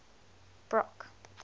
brock